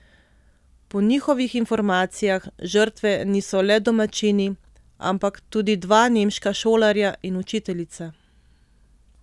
Po njihovih informacijah žrtve niso le domačini, ampak tudi dva nemška šolarja in učiteljica.